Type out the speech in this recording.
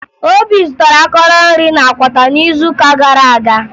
Obi zụtara akọrọ nri na Akwata n'izuụka gara aga